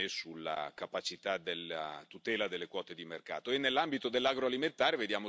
né sul prezzo né sulla capacità della tutela delle quote di mercato.